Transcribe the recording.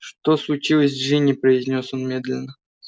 что случилось с джинни произнёс он медленно